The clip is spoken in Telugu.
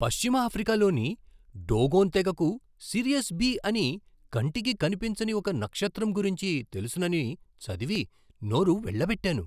పశ్చిమ ఆఫ్రికాలోని డోగోన్ తెగకు సిరియస్ బీ అని కంటికి కనిపించని ఒక నక్షత్రం గురించి తెలుసునని చదివి, నోరు వెళ్ళబెట్టాను.